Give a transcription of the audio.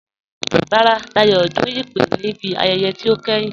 Rárá, Dáyọ̀ dún ìpè ní ibi ayẹyẹ̀ tí o kẹ́hìn